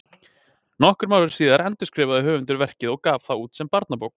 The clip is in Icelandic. Nokkrum árum síðar endurskrifaði höfundurinn verkið og gaf það út sem barnabók.